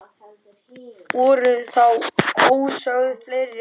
Voru þá ósögð fleiri orð.